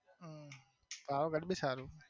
હમ પાવાગઢ બી સારું.